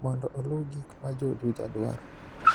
mondo olu gik ma jo Juja dwaro